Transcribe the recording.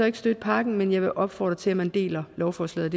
ikke støtte pakken men jeg vil opfordre til at man deler lovforslaget